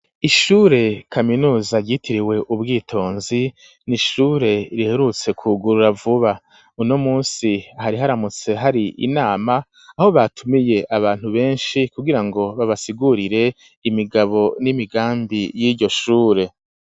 Ishure kaminuza ryitiriwe ubwitonzi n'ishure riherutse ku gurura vuba uno musi hari haramutse hari inama aho batumiye abantu beshi kugira ngo babasigurire imigabo n'imigambi yiyo shure.